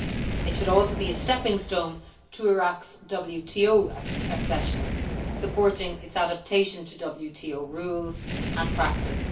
It should also be a stepping stone to Iraq's WTO accession, supporting its adaptation to WTO rules and practice.